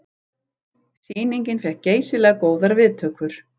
Sýningin fékk geysilega góðar viðtökur